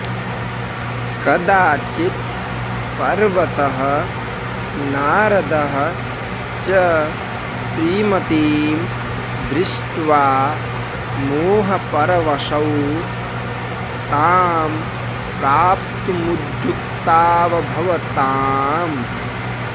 कदाचित् पर्वतः नारदः च श्रीमतीं दृष्ट्वा मोहपरवशौ तां प्राप्तुमुद्युक्तावभवताम्